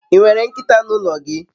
I nwere nkita n'ulo gi?